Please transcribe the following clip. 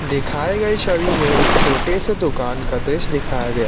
दिखाए गए छवी में एक छोटे से दुकान का दृश्य दिखाया गया--